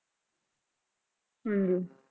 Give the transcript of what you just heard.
ਹਮ